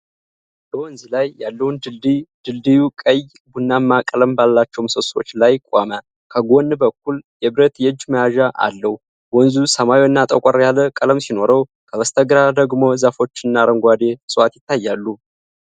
በወንዝ ላይ ያለውን ድልድይ ። ድልድዩ ቀይ ቡናማ ቀለም ባላቸው ምሰሶዎች ላይ ቆሞ፣ ከጎን በኩል የብረት የእጅ መያዣ አለው። ወንዙ ሰማያዊና ጠቆር ያለ ቀለም ሲኖረው፣ ከበስተግራ ደግሞ ዛፎችና አረንጓዴ ዕፅዋት ይታያሉ።